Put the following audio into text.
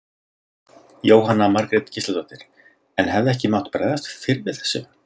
Jóhanna Margrét Gísladóttir: En hefði ekki mátt bregðast fyrr við þessu?